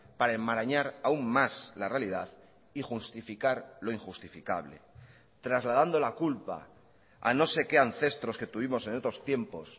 para enmarañar aún más la realidad y justificar lo injustificable trasladando la culpa a no sé qué ancestros que tuvimos en otros tiempos